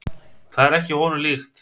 Það er ekki honum líkt.